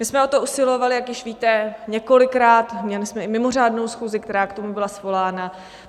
My jsme o to usilovali, jak již víte, několikrát, měli jsme i mimořádnou schůzi, která k tomu byla svolána.